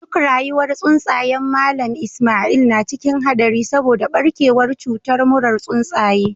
Duk rayuwar tsuntsayen Mallam Ismail na cikin hadari saboda barkewar cutar murar tsuntsaye.